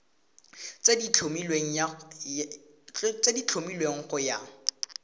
tse di tlhomilweng go ya